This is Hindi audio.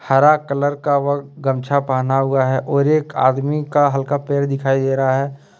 हरा कलर का वह गमछा पहना हुआ है और एक आदमी का हल्का पेट दिखाई दे रहा है।